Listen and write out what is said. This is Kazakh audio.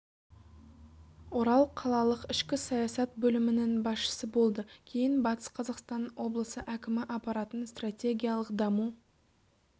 орал қалалық ішкі саясат бөлімінің басшысы болды кейін батыс қазақстан облысы әкімі аппаратының стратегиялық даму